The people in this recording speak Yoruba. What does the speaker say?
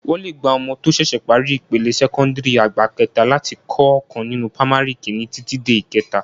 Wọ́n lè gba ọmọ tó ṣẹ̀ṣẹ̀ parí ipele sẹ́kọ́ńdìrì àgbà kẹta láti kọ́ ọkàn nínú pamari kìíní títí dé ìkẹta